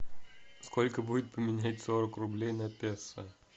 сколько будет поменять сорок рублей на песо